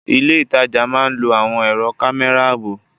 Ilé ìtajà máa lò àwọn ẹ̀rọ kámẹ́rà ààbò.